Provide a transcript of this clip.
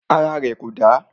Ara rẹ̀ kò dà.